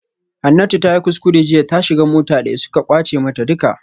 Hanatu tayi kuskure jiya ta shiga mota daya suka kwace mata duka